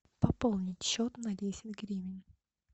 пополнить счет на десять гривен